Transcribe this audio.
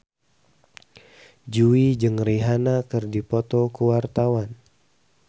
Jui jeung Rihanna keur dipoto ku wartawan